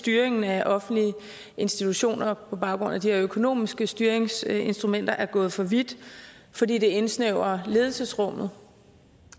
styringen af offentlige institutioner på baggrund af de her økonomiske styringsinstrumenter er gået for vidt fordi det indsnævrer ledelsesrummet